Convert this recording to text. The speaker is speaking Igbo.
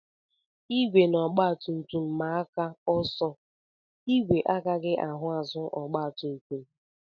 Igwe na ọgbatumtum maa aka ọsọ, ìgwè agaghị ahụ azụ ọgbatumtum